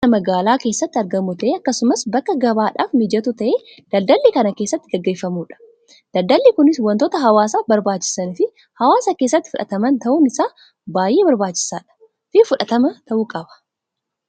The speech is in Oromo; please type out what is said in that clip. Suuqiin mana magaalaa keessatti argamu ta'ee akkasumas bakka gabaadhaaf mijatu ta'ee daldalli kan keessatti gaggeeffamudha. Daldalli kunis wantoota hawwaasaaf barbaachisan fi hawwasa keessatti fudhataman ta'uun isaa baayyee barbaachisaadhaa fi fudhatamaa ta'uu qaba.